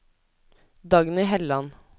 Dagny Helland